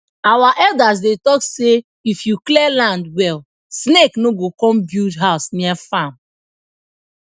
our elders dey talk say if you clear land well snake no go come build house near farm